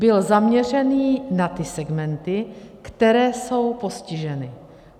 Byl zaměřený na ty segmenty, které jsou postiženy.